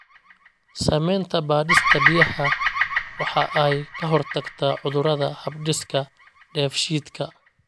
Samaynta baadhista biyaha waxa ay ka hortagtaa cudurrada hab-dhiska dheefshiidka.